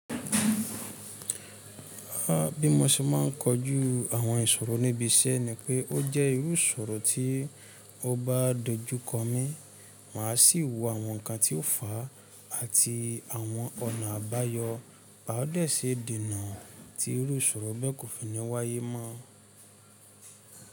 Bí mo ṣe ma n kojú àwọn ìṣòro níbi iṣẹ́ ni pé ó jẹ́ irú ìṣòro tí ó bá dojú kọ mí, màá sì wo àwọn nkan tí ó fà á àti àwọn ọ̀nà àbáyọ. Bá ó dẹ̀ ṣe dènà tí irú ìṣòro bẹ́ẹ̀ kò fi ní wáyé mọ́.